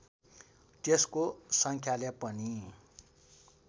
त्यसको सङ्ख्याले पनि